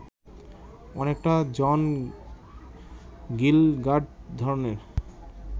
অনেকটা John Gielgud ধরনের